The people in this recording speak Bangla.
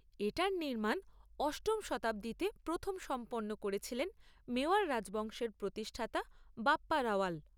এটার নির্মাণ অষ্টম শতাব্দীতে প্রথম সম্পন্ন করেছিলেন মেওয়াড় রাজবংশের প্রতিষ্ঠাতা বাপ্পা রাওয়াল।